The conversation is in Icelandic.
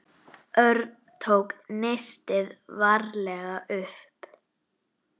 Örn tók nistið varlega upp.